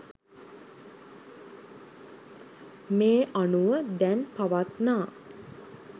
මේ අනුව දැන් පවත්නා